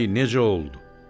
Ay necə oldu?